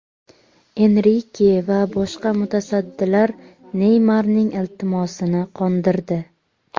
Enrike va boshqa mutasaddilar Neymarning iltimosini qondirdi.